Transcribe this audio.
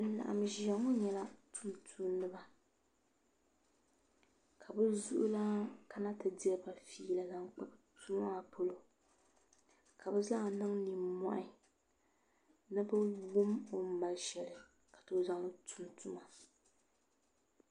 Bin laɣam ʒiya ŋo nyɛla tumtumdiba ka bi zuŋulaan kana ti diriba fiila zaŋ kpa tuma maa polo ka bi zaa niŋ nimmohi ni bi wum o ni mali shɛli n zaŋ tum tuma